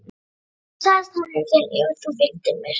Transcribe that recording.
Hann sagðist hafna þér ef þú fylgdir mér.